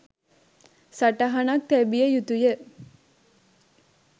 සටහනක් තැබිය යුතුය